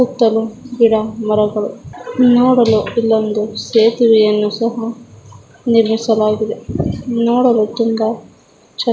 ಸುತ್ತಲೂ ಗಿಡ ಮರಗಳು ನೋಡಲು ಇಲ್ಲೊಂದು ಸೇತುವೆಯನ್ನು ಸಹ ನಿಲ್ಲಿಸಲಾಗಿದೆ. ನೋಡಲು ತುಂಬ ಚೆನ್ನಾ--